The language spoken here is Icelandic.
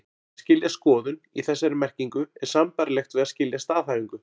Að skilja skoðun, í þessari merkingu, er sambærilegt við að skilja staðhæfingu.